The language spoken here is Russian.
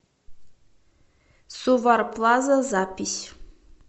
сувар плаза запись